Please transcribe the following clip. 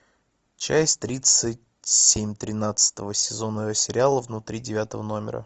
часть тридцать семь тринадцатого сезона сериала внутри девятого номера